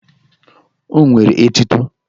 O nwere etuto!